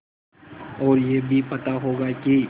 और यह भी पता होगा कि